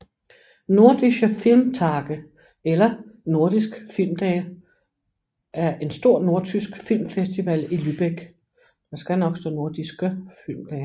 Nordische Filmtage eller Nordisk filmdage er en stor nordtysk filmfestival i Lübeck